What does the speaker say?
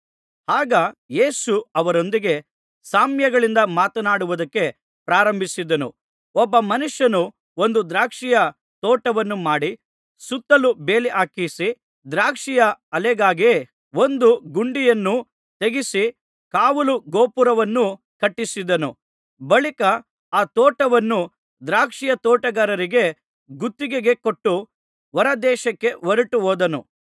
ಆಗ ಯೇಸು ಅವರೊಂದಿಗೆ ಸಾಮ್ಯಗಳಿಂದ ಮಾತನಾಡುವುದಕ್ಕೆ ಪ್ರಾರಂಭಿಸಿದನು ಒಬ್ಬ ಮನುಷ್ಯನು ಒಂದು ದ್ರಾಕ್ಷಿಯ ತೋಟವನ್ನು ಮಾಡಿ ಸುತ್ತಲೂ ಬೇಲಿ ಹಾಕಿಸಿ ದ್ರಾಕ್ಷಿಯ ಆಲೆಗಾಗಿ ಒಂದು ಗುಂಡಿಯನ್ನು ತೆಗೆಸಿ ಕಾವಲು ಗೋಪುರವನ್ನು ಕಟ್ಟಿಸಿದನು ಬಳಿಕ ಆ ತೋಟವನ್ನು ದ್ರಾಕ್ಷಿಯ ತೋಟಗಾರರಿಗೆ ಗುತ್ತಿಗೆಗೆ ಕೊಟ್ಟು ಹೊರದೇಶಕ್ಕೆ ಹೊರಟು ಹೋದನು